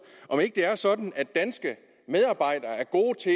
om ikke det er sådan at danske medarbejdere er gode til